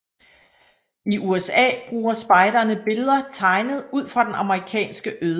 I USA bruger spejderne billeder tegnet ud fra den amerikanske ødemark